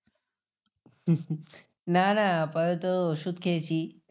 না না আপাতত ওষুধ খেয়েছি।